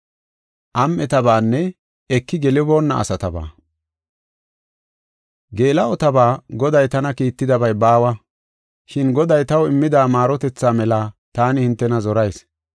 Geela7otaba Goday tana kiittidabay baawa. Shin Goday taw immida maarotetha mela taani hintena zorayis.